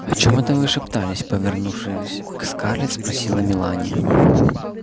о чем это вы шептались повернувшись к скарлетт спросила мелани когда покупатели ушли